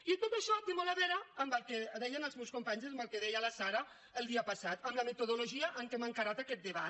i tot això té molt a veure amb el que deien els meus companys amb el que deia la sara el dia passat amb la metodologia amb què hem encarat aquest debat